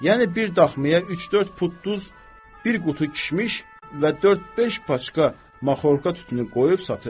Yəni bir daxmaya üç-dörd pud duz, bir qutu kişmiş və dörd-beş paçka makhorka tütünü qoyub satır.